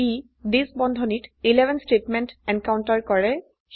ই থিচ বন্ধনীত 11 statement encounter কৰে